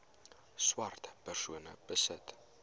swart persone besit